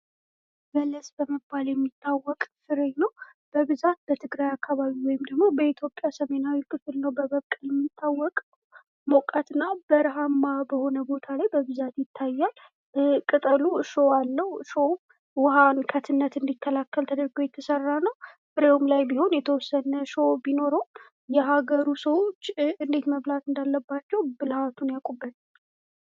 በለስ በመባል የሚታወቅ ፍሬ ነው በብዛት በትግራይ አካባቢ ወይም በኢትዮጵያ ሰሜናዊ ክፍል ነው በመብቀል የሚታወቀው ሞቃትና በረሀማ በሆነ ቦታ ላይ በብዛት ይታያል። ቅጠሉ እሾህ አለው ቅጠሉ ውሀን ከትነት እንዲከላከል ተደርጎ የተሰራ ነው። ፍሬውም ላይ ቢሆን የተወሰነ እሾህ ቢኖረውም የሀገሩ ሰው እንዴት መብላት እንዳለባቸው ብልሀቱን ያውቁበታል።